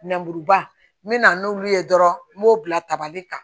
Nɛmuruba me na n'olu ye dɔrɔn n b'o bila tabali kan